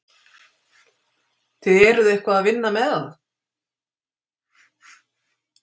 Þið eruð eitthvað að vinna með það?